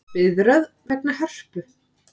Biðröð vegna Hörpu